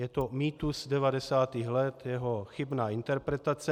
Je to mýtus 90. let, jeho chybná interpretace.